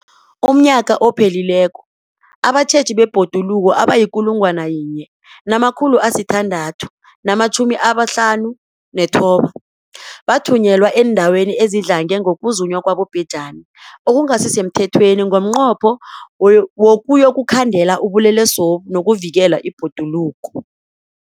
UmNnyaka ophelileko abatjheji bebhoduluko abayi-1 659 bathunyelwa eendaweni ezidlange ngokuzunywa kwabobhejani okungasi semthethweni ngomnqopho wokuyokukhandela ubulelesobu nokuvikela ibhoduluko.